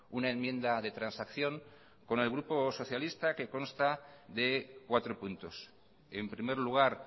una enmienda de transacción con el grupo socialista que consta de cuatro puntos en primer lugar